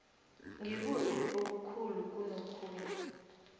ngikuphi okukhulu kunokhunye